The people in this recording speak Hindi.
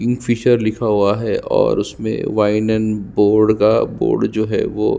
किंगफ़िशर लिखा हुआ है और उसमे वाइन एंड का बोर्ड का बोर्ड जो है वो--